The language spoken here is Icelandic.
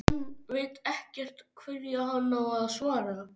Hann veit ekkert hverju hann á að svara.